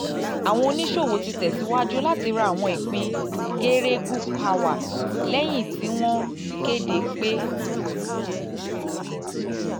àwọn oníṣòwò ti tẹ̀ síwájú láti ra àwọn ìpín geregu power lẹ́yìn tí wọ́n kéde pé